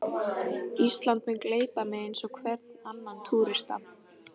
Ísland mun gleypa mig eins og hvern annan túrista.